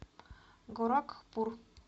горакхпур